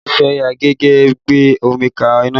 A ti fi àgé gbé omi ka iná